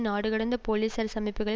நாடுகடந்த போலீஸ்அரசு அமைப்புக்களை